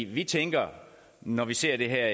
vi tænker når vi ser det her